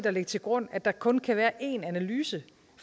at lægge til grund at der kun kan være én analyse